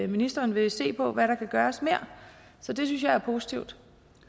ministeren ville se på hvad der mere kunne gøres så det synes jeg er positivt